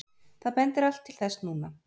Það bendir allt til þess núna.